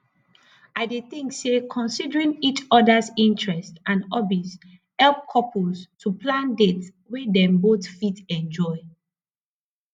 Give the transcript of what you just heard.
i dey think say considering each odas interests and hobbies help couples to plan dates wey dem both fit enjoy